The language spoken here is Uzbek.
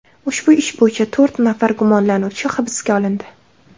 Ushbu ish bo‘yicha to‘rt nafar gumonlanuvchi hibsga olindi.